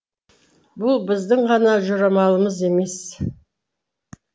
бұл біздің ғана жорамалымыз емес